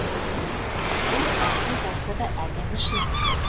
бұл әзіл болса да әдемі шындық